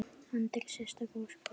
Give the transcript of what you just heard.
Andri: Sérstök ósk frá honum?